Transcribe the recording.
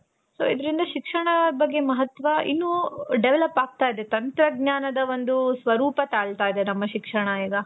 so ಇದ್ರಿಂದ ಶಿಕ್ಷಣ ಬಗ್ಗೆ ಮಹತ್ವ ಇನ್ನು develop ಆಗ್ತಾ ಇದೆ. ತಂತ್ರಜ್ಞಾನದ ಒಂದು ಸ್ವರೂಪ ತಾಳ್ತಾ ಇದೆ ನಮ್ಮ ಶಿಕ್ಷಣ ಇವಾಗ.